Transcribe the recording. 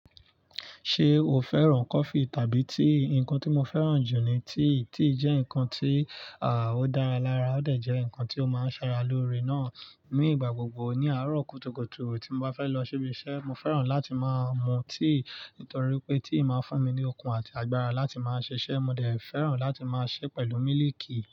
Ṣé o fẹ́ràn coffee tàbí tea? Ǹkan tí mo fẹ́ràn jù ni tea. Tea jẹ́ ǹkan tí, à, ó dára lára. Ó dẹ̀ jẹ́ ǹkan tí ó máa ń ṣara lóore náà. Ni ìgbà gbogbo ní àárọ̀ kùtùkùtù tí mo bá fẹ́ lọ ṣibí iṣẹ́, mo fẹ́ràn láti máa mu tea, nítorí pé tea máa ń fún mi ní okun àti agbára láti máa ṣiṣẹ́. Mo dẹ̀ fẹ́ràn láti máa ṣé pẹ̀lú mílìkì.